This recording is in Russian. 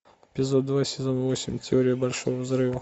эпизод два сезон восемь теория большого взрыва